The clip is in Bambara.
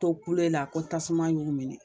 To kulela ko tasuma y'u minɛ